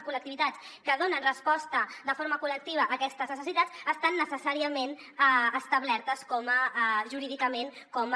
col·lectivitats que donen resposta de forma col·lectiva a aquestes necessitats estan necessàriament establertes jurídicament com a